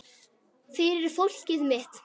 Fyrir fólkið mitt.